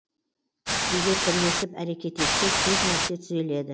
егер бірлесіп әрекет етсек көп нәрсе түзеледі